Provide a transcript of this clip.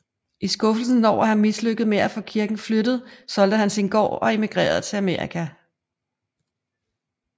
I skuffelsen over at have mislykkedes med at få kirken flyttet solgte han sin gård og emigrerede til Amerika